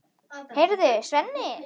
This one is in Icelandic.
Heyrðu, Svenni!